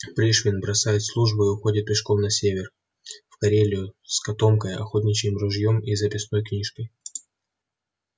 пришвин бросает службу и уходит пешком на север в карелию с котомкой охотничьим ружьём и записной книжкой